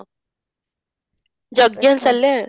ଯଜ୍ଞ ଚାଲେ